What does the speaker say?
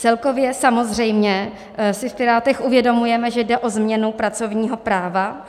Celkově samozřejmě si v Pirátech uvědomujeme, že jde o změnu pracovního práva.